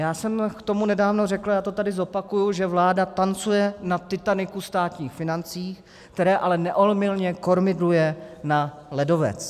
Já jsem k tomu nedávno řekl, já to tady zopakuji, že vláda tancuje na Titanicu státních financí, které ale neomylně kormidluje na ledovec.